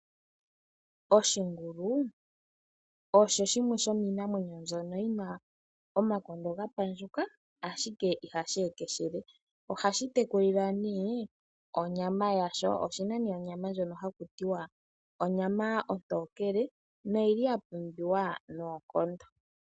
Oshingulu osho shimwe shomiimamwenyo mbyono yina omakondo gapandjuka ashike ihashi ekeshele . Ohashi atekulilwa nee onyama yasho. Oshina nee onyama ndjono hakutiwa onyama ontokele noyili yapumbiwa noonkondo.